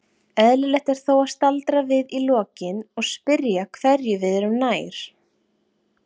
Eðlilegt er þó að staldra við í lokin og spyrja hverju við erum nær.